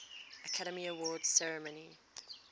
academy awards ceremony